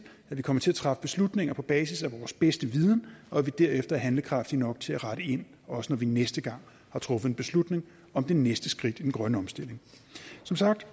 at vi kommer til at træffe beslutninger på basis af vores bedste viden og at vi derefter er handlekraftige nok til at rette ind også når vi næste gang har truffet en beslutning om det næste skridt i den grønne omstilling som sagt